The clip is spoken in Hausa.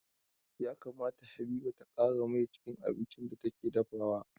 Ya kamata Habiba ta ƙara mai cikin abincin da take dafawa.